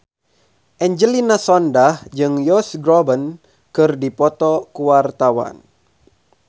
Angelina Sondakh jeung Josh Groban keur dipoto ku wartawan